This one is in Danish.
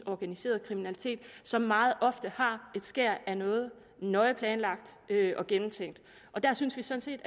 organiseret kriminalitet som meget ofte har et skær af noget nøje planlagt og gennemtænkt der synes vi sådan